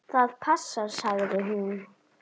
Það passar, sagði hún.